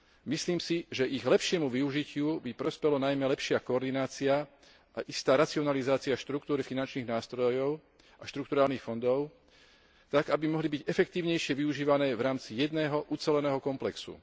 Myslím si, že ich lepšiemu využitiu by prospela najmä lepšia koordinácia a istá racionalizácia štruktúry finančných nástrojov a štrukturálnych fondov tak, aby mohli byť efektívnejšie využívané v rámci jedného uceleného komplexu.